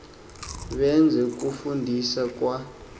beze kufundisa kwa